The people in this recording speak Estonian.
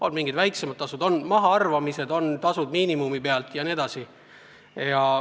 On mingid väiksemad tasud, on mahaarvamised, on tasud miinimumi pealt jne.